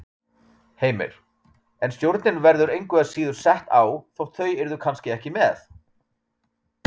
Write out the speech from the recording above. Heimir: En stjórnin verður engu að síður sett á þótt þau yrðu kannski ekki með?